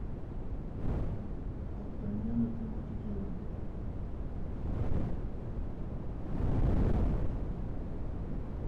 д артаньян и три мушкетера